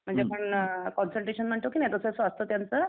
म्हणजे आपण कॉन्संट्रेशन म्हणतो की नाही तसं ते असत त्यांचं